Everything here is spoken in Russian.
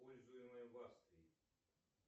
пользуемая в австрии